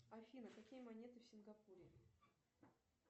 афина какие монеты в сингапуре